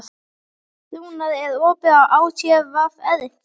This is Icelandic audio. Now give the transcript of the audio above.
Rúnar, er opið í ÁTVR?